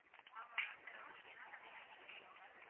ஆமா ma'am உங்களுக்கு என்ன மாதிரி வேணும் ma'am